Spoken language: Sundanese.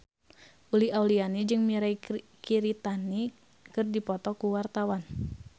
Uli Auliani jeung Mirei Kiritani keur dipoto ku wartawan